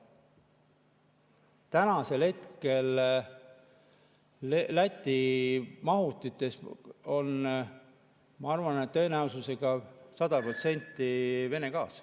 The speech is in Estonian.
Tänasel hetkel Läti mahutites on, ma arvan, tõenäosusega 100% Vene gaas.